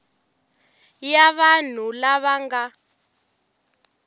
ya vanhu lava va nga